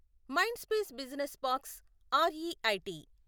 Mindspace business parks REIT